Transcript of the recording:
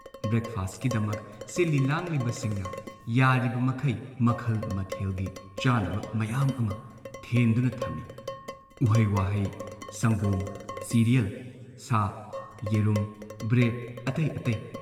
Break ꯐꯥꯁꯠꯀꯤꯗꯃꯛ ꯁꯤꯜꯂꯤ ꯂꯥꯡꯂꯤꯕꯁꯤꯡꯅ ꯌꯥꯔꯤꯕ ꯃꯈꯩ ꯃꯈꯜ ꯃꯊꯦꯜꯒꯤ ꯆꯥꯅꯕ ꯃꯌꯥꯝ ꯑꯃ ꯊꯦꯟꯗꯨꯅ ꯊꯝꯏ ꯎꯍꯩ ꯋꯥꯍꯩ ꯁꯪꯒꯣꯝ, ꯁꯤꯔꯤꯌꯦꯜ, ꯁꯥ, ꯌꯦꯔꯨꯝ, ꯕ꯭ꯔꯦꯗ ꯑꯇꯩ ꯑꯇꯩ ꯫